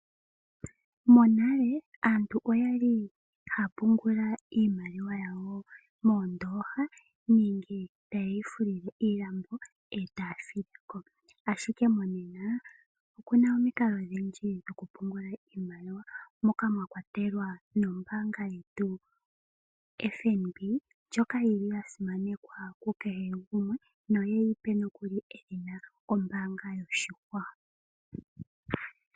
Monale aantu oyali haya pungula iimaliwa yawo moondooha nenge tayeyi fulile iilambo etaya fileko ,ashike monena okuna omikalo odhindji dhoku pungula iimaliwa moka mwakwatelwa nombaanga yetu yo FNB ndjoka yili ya simanekwa ku kehe gumwe no yeyipe nokuli edhina ombaanga yoshigwana.